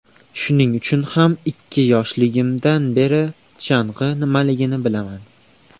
Shuning uchun ham ikki yoshimdan beri chang‘i nimaligini bilaman.